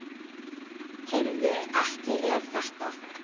Heyrðu. ekki er þetta?